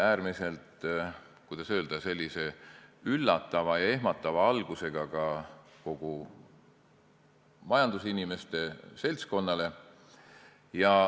Äärmiselt, kuidas öelda, üllatav ja ehmatav algus oli sel ka kogu majandusinimeste seltskonnale.